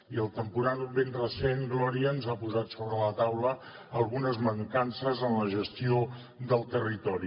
i el temporal ben recent gloria ens ha posat sobre la taula algunes mancances en la gestió del territori